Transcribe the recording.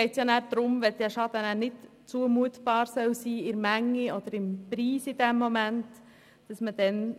Es geht darum, dass ein unzumutbarer Schaden erlassen werden kann.